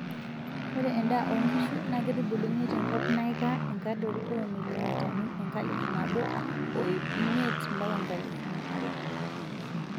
Ore endaa onkishu naa keitubuluni tenkop naikaa enkadori oo milimitani enkalifu nabo oip imiet mpaka nkalifuni are.